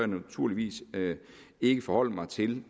naturligvis ikke forholde mig til